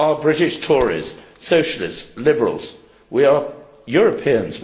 There are British Tories, Socialists, Liberals. We are Europeans.